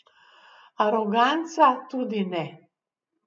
Aroganca tudi ne.